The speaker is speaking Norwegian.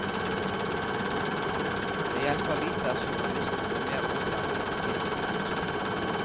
Det hjelper lite at journalistene blir mer utdannet og kildekritiske.